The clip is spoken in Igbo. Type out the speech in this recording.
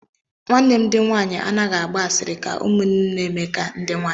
Ụmụnne m ndi nwaanyi anaghị agba asịrị ka ụmụnne Emeka ndi nwaanyi.